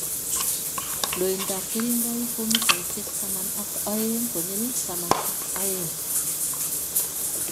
loindap keringoik ko mitaisyek taman ak aeng' konyil taman ak aeng'